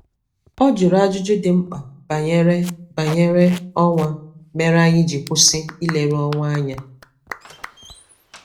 O juru ajụjụ dị mkpa banyere banyere ọnwa mere anyị ji kwụsị ileru ọnwa anya